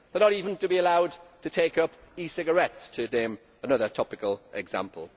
They are not even to be allowed to take up e cigarettes, to cite another topical example.